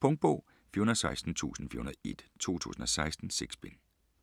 Punktbog 416401 2016. 6 bind.